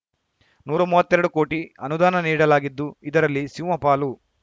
ನೂರಾ ಮೂವತ್ತೆರಡು ಕೋಟಿ ಅನುದಾನ ನೀಡಲಾಗಿದ್ದು ಇದರಲ್ಲಿ ಸಿಂಹಪಾಲು